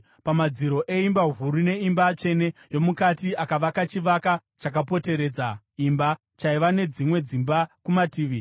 Pamadziro eimba huru neeimba tsvene yomukati akavaka chivakwa chakapoteredza imba, chaiva nedzimwe dzimba kumativi.